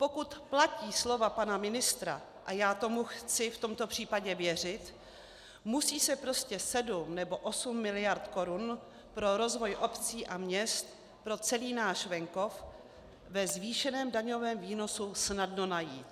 Pokud platí slova pana ministra, a já tomu chci v tomto případě věřit, musí se prostě sedm nebo osm miliard korun pro rozvoj obcí a měst, pro celý náš venkov ve zvýšeném daňovém výnosu snadno najít.